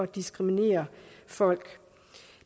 diskriminere folk